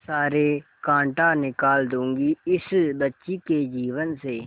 सारे कांटा निकाल दूंगी इस बच्ची के जीवन से